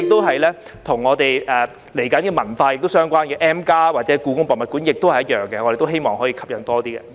接下來，與文化相關的 M+ 或故宮文化博物館也是一樣，我們亦希望吸引到更多人參觀。